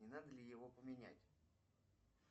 не надо ли его поменять